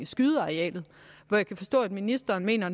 skydearealet hvor jeg kan forstå at ministeren mener